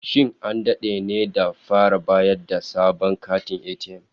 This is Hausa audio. Shin an dade ne da fara bayar da sabon katin ATM?